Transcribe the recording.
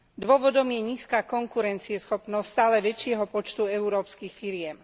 Dôvodom je nízka konkurencieschopnosť stále väčšieho počtu európskych firiem.